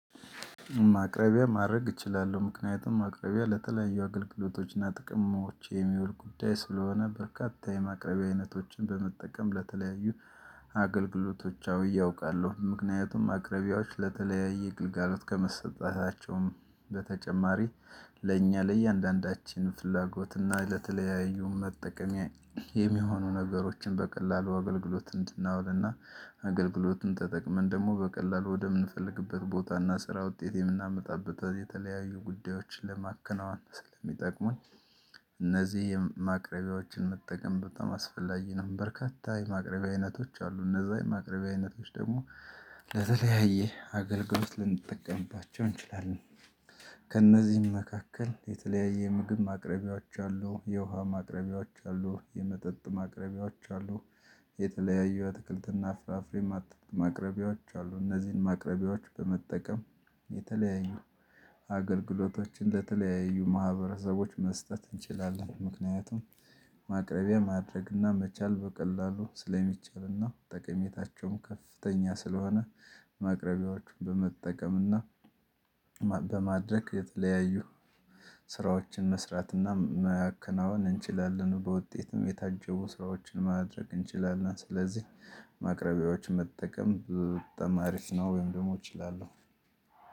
ማቅረቢያ ማድረግ እችላለሁ ምክንያቱም ማቅረቢያ ለተለያዩ አገልግሎቶችና ጥቅሞች የሚውል ጉዳይ ስለሆነ በርካታ የማቅረቢያ አይነቶችን በመጠቀም ለተለያዩ አገልግሎቶቻዊ ያውቃለሁ ምክንያቱም ማቅረቢያዎች ለተለያየ ግልጋሎት ከመሰጣታቸውም በተጨማሪ ለእኛ ለእያንዳንዳችን ፍላጎትና ለተለያዩ መጠቀሚያ የሚሆኑ ነገሮችን በቀላሉ አገልግሎት እንድናውልና አገልግሎቱን ተጠቅመን ደግሞ በቀላሉ ወደምንፈልግበት ቦታና ስራ ውጤት የምናመጣበት የተለያዩ ጉዳዮችን ለማከናወን ስለሚጠቅሙኝ እነዚህ ማቅረቢያዎችን መጠቀም በጣም አስፈላጊ ነው። በርካታ የማቅረቢያ አይነቶች አሉ እነዛ የማቅረቢያ አይነቶች ደግሞ ለተለያየ አገልግሎት ልንጠቀምባቸው እንችላለን። ከእነዚህም መካከል የተለያየ ምግብ ማቅረቢያዎች አሉ የውሃ ማቅረቢያዎች አሉ የመጠጥ ማቅረቢያዎች አሉ የተለያዩ አትክልትና ፍራፍሬ ማቅረቢያዎች አሉ እነዚህን ማቅረቢያዎች በመጠቀም የተለያዩ አገልግሎቶችን ለተለያዩ ማህበረሰቦች መስጠት እንችላለን ምክንያቱም ማቅረቢያ ማድረግና መቻል በቀላሉ ስለሚቻልና ጠቀሜታቸውም ከፍተኛ ስለሆነ ማቅረቢያዎቹን በመጠቀምና በማድረግ የተለያዩ ስራዎችን መስራትና ማከናወን እንችላለን በውጤትም የታጀቡ ስራዎችን ማድረግ እንችላለን ስለዚህ ማቅረቢያዎች መጠቀም በጣም አሪፍ ነው ወይም ደግሞ እችላለሁ